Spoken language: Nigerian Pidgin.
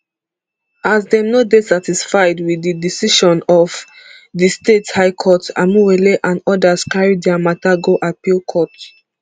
as dem no dey satisfied wit di decision of di state high court amaewhule and odas carry dia mata go appeal court